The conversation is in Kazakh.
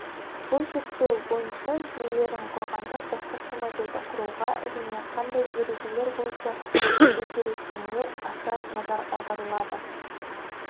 бұл зерттеу бойынша жүйелерін құрғанда бастапқы моделді құруға және қандай ережелер бойынша өзгеретініне аса назар аударылады